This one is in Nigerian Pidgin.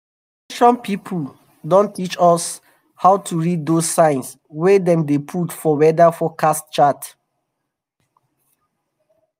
ex ten sion people don teach us um how to read those signs wey dem dey put for weather forecast chart